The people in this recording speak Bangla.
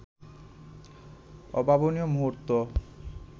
অভাবনীয় মুহূর্ত